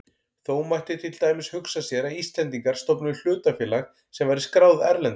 Þó mætti til dæmis hugsa sér að Íslendingar stofnuðu hlutafélag sem væri skráð erlendis.